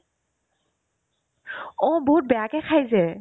অ, বহুত বেয়াকে খাই যে